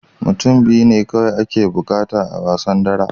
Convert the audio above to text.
Mutum biyu ne kawai ake buƙata a wasan dara